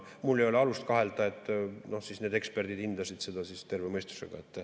Mul ei ole alust kahelda, et need eksperdid hindasid seda terve mõistusega.